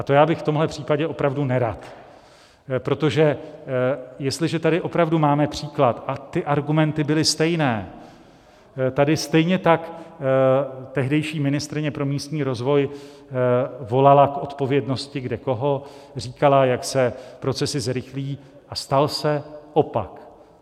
A to já bych v tomhle případě opravdu nerad, protože jestliže tady opravdu máme příklad, a ty argumenty byly stejné, tady stejně tak tehdejší ministryně pro místní rozvoj volala k odpovědnosti kdekoho, říkala, jak se procesy zrychlí, a stal se opak.